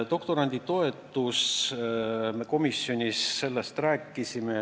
Doktoranditoetusest me komisjonis rääkisime.